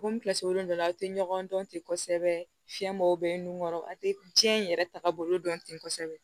komi dɔ la aw tɛ ɲɔgɔn dɔn ten kosɛbɛ fiɲɛbɔ bɛ nun kɔrɔ a tɛ diɲɛ yɛrɛ tagabolo dɔn tɛ kosɛbɛ